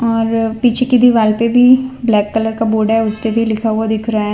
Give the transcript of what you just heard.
और पीछे कि दीवाल पे भी ब्लॅक कलर का बोर्ड हैं उसपे भी लिखा हुआ दिख रहा हैं।